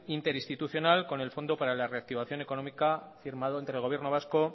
interinstitucional con el fondo para la reactivación económica firmado entre gobierno vasco